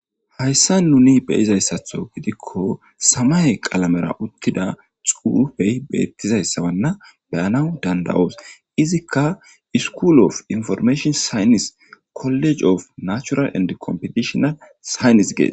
Haysan nuni beyizaysatho gidiko samaye qalamera uttida xufey betizaysa beyanas dandayos izika skull of imforimashina saynisi koliji of nachural ende komfitidhinal siyinis ges